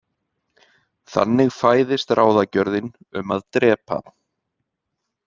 Þannig fæðist ráðagjörðin um að drepa.